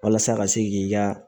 Walasa ka se k'i ka